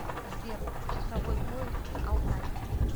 сбер часовой пояс алтай